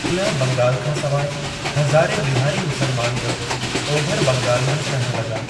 ओलह बंगाल खां सवाइ, हज़ारें बिहारी मुस्लमान बि ओभरि बंगाल मंझि रहण लॻा।